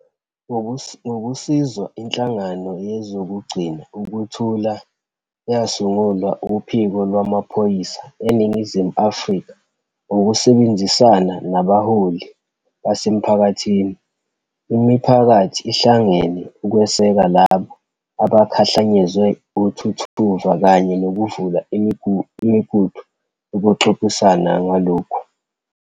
Ngokusizwa inhlangano yezokugcina ukuthula eyasungulwa uPhiko Lwamaphoyisa eNingizimu Afrika ngokusebenzisana nabaholi basemphakathini, imiphakathi ihlangene ukweseka labo abakhahlanyezwe uthuthuva kanye nokuvula imigudu yokuxoxisana ngalokhu.